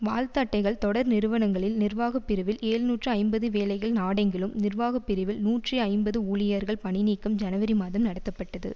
வாழ்த்து அட்டைகள் தொடர் நிறுவனங்களில் நிர்வாக பிரிவில் எழ்நூற்று ஐம்பது வேலைகள் நாடெங்கிலும் நிர்வாக பிரிவில் நூற்றி ஐம்பது ஊழியர்கள் பணிநீக்கம் ஜனவரி மாதம் நடத்தப்பட்டது